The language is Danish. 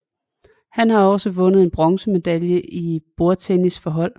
Han har også vundet en bronzemedalje i bordtennis for hold